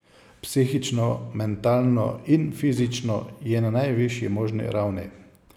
Psihično, mentalno in fizično je na najvišji možni ravni.